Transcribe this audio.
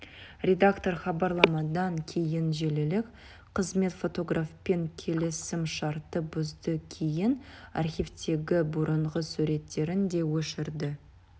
редактор хабарламадан кейін желілік қызмет фотографпен келісімшартты бұзды кейін архивтегі бұрынғы суреттерін де өшірді